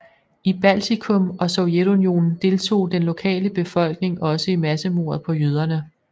I Baltikum og Sovjetunionen deltog den lokale befolkning også i massemordet på jøderne